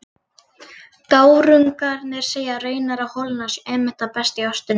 Gárungarnir segja raunar að holurnar séu einmitt það besta í ostinum.